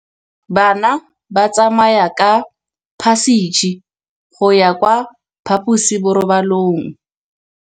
Bana ba tsamaya ka phašitshe go ya kwa phaposiborobalong.